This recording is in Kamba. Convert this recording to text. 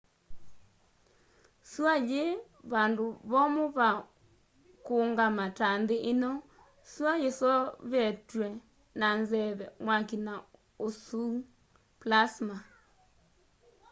sua yii vandũ vomũ va kũungama ta nthi ino. sua yiseovetwe na nzeve mwaki na ũsũu plasma